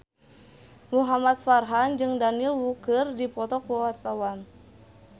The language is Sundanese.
Muhamad Farhan jeung Daniel Wu keur dipoto ku wartawan